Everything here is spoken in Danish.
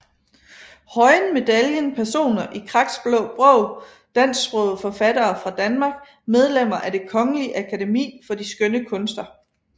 Høyen Medaljen Personer i Kraks Blå Bog Dansksprogede forfattere fra Danmark Medlemmer af Det Kongelige Akademi for de Skønne Kunster